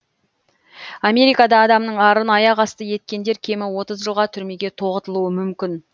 америкада адамның арын аяқ асты еткендер кемі отыз жылға түрмеге тоғытылуы мүмкін